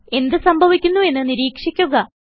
എന്ത് സംഭവിക്കുന്നുവെന്ന് നിരീക്ഷിക്കുക